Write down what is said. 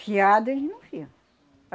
Fiado, eles não fiam.